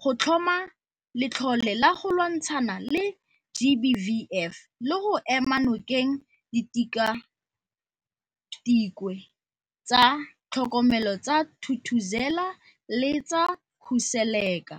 go tlhoma letlole la go lwantshana le GBVF le go ema nokeng Ditikwatikwe tsa Tlhokomelo tsa Thuthuzela le tsa Khuseleka.